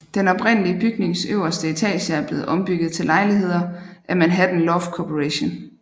Den oprindelige bygnings øverste etager er blevet ombygget til lejligheder af Manhattan Loft Corporation